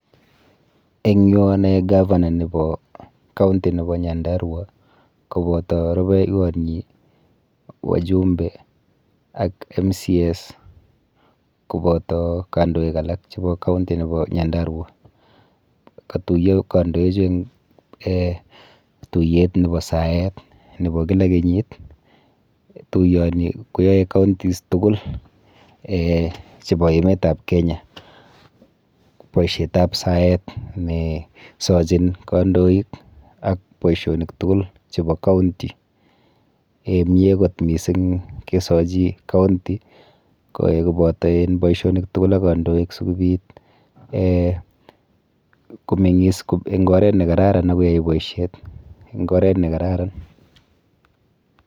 Eng yu anoe governor nepo county nepo Nyandarua kopoto rubeiwonyi, wajumbe, ak members of county assembly kopoto kandoik alak chepo county nepo Nyandarua. Katuiyo kandoichu eng um tuiyet nepo saet nepo kila kenyit. Tuiyoni koyoe counties tukul um chepo emetap Kenya boisietap saet nesochin kandoik ak boisionik tugul chepo county. um Mie kot mising kesochi county koboto en boisionik tugul ak kandoik sikobit um komeng'is eng oret nekararan ak koyai boisiet eng oret nekararan.